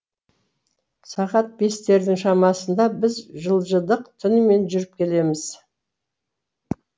сағат бестердің шамасында біз жылжыдық түнімен жүріп келеміз